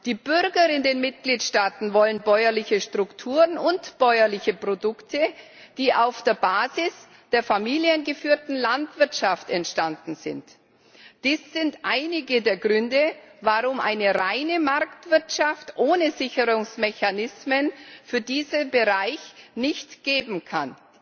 Die Bürger in den Mitgliedsstaaten wollen bäuerliche Strukturen und bäuerliche Produkte, die auf der Basis der familiengeführten Landwirtschaft entstanden sind. Dies sind einige der Gründe, warum es eine reine Marktwirtschaft ohne Sicherungsmechanismen für diesen Bereich nicht geben kann.